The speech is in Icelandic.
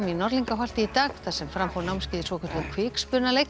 Norðlingaholti í dag þar sem fram fór námskeið í svokölluðum